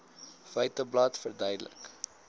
feiteblad verduidelik